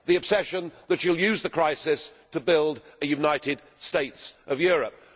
the obsession that you will use the crisis to build a United States of Europe.